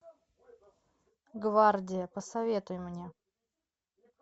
гвардия посоветуй мне